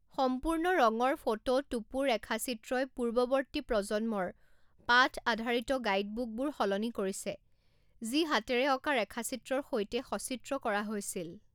সম্পূৰ্ণ ৰঙৰ ফটো টোপো ৰেখাচিত্ৰই পূৰ্বৱৰ্তী প্ৰজন্মৰ পাঠ আধাৰিত গাইডবুকবোৰ সলনি কৰিছে, যি হাতেৰে অঁকা ৰেখাচিত্ৰৰ সৈতে সচিত্ৰ কৰা হৈছিল।